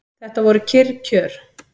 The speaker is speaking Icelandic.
Þetta voru kyrr kjör.